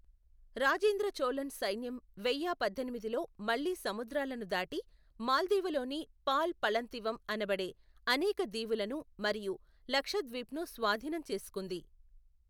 రాజేంద్ర చోళన్ సైన్యం వెయ్య పద్దెనిమిదిలో మళ్లీ సముద్రాలను దాటి మాల్దీవులలోని పాల్ పళంతివమ్ అనబడే అనేక దీవులను మరియు లక్షద్వీప్ను స్వాధీనం చేసుకుంది.